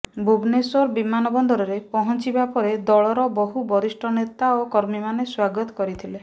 ଭୁବନେଶ୍ୱର ବିମାନବନ୍ଦରରେ ପହଞ୍ଚିବା ପରେ ଦଳର ବହୁ ବରିଷ୍ଠ ନେତା ଓ କର୍ମୀମାନେ ସ୍ୱାଗତ କରିଥିଲେ